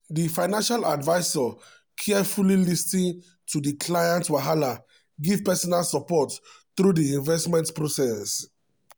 di financial advisor carefully lis ten to di client wahala give personal support through di investment process.